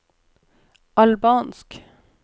albansk